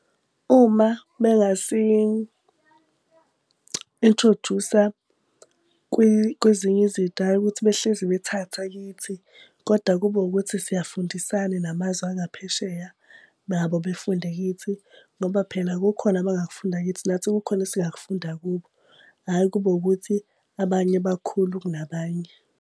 Uma bengasi-inthrojusa kwezinye izinto hhayi ukuthi behlezi bethatha kithi, koda kube ukuthi siyafundisana namazwe angaphesheya nabo befunde kithi. Ngoba phela kukhona abangakufunda kithi nathi kukhona esingakufunda kubo, hhayi kube ukuthi abanye bakhulu kunabanye.